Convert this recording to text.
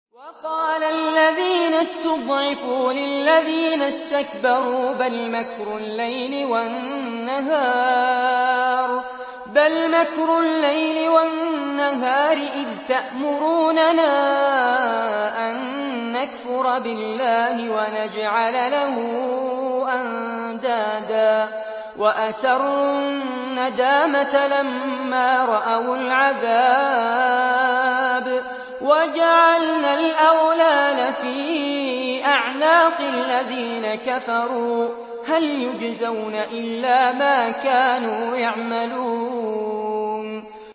وَقَالَ الَّذِينَ اسْتُضْعِفُوا لِلَّذِينَ اسْتَكْبَرُوا بَلْ مَكْرُ اللَّيْلِ وَالنَّهَارِ إِذْ تَأْمُرُونَنَا أَن نَّكْفُرَ بِاللَّهِ وَنَجْعَلَ لَهُ أَندَادًا ۚ وَأَسَرُّوا النَّدَامَةَ لَمَّا رَأَوُا الْعَذَابَ وَجَعَلْنَا الْأَغْلَالَ فِي أَعْنَاقِ الَّذِينَ كَفَرُوا ۚ هَلْ يُجْزَوْنَ إِلَّا مَا كَانُوا يَعْمَلُونَ